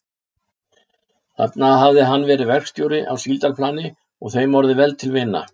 Þar hafði hann verið verkstjóri á síldarplani og þeim orðið vel til vina.